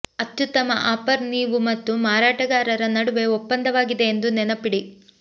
ಅತ್ಯುತ್ತಮ ಆಫರ್ ನೀವು ಮತ್ತು ಮಾರಾಟಗಾರರ ನಡುವೆ ಒಪ್ಪಂದವಾಗಿದೆ ಎಂದು ನೆನಪಿಡಿ